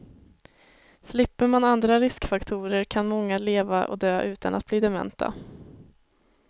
Slipper man andra riskfaktorer kan många leva och dö utan att bli dementa.